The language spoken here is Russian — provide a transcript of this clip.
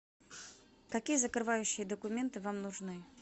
какие закрывающие документы вам нужны